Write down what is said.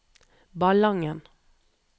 Ballangen